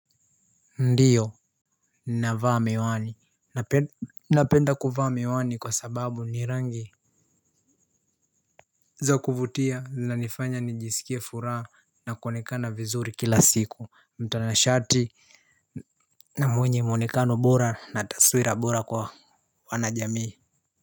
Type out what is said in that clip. Ndiyo nina vaa miwani napenda kuvaa miwani kwa sababu ni rangi za kuvutia na nifanya nijisikia furaa na kuwonekana vizuri kila siku mtanashati na mwenye muonekano bora na taswira bora kwa wanajamii.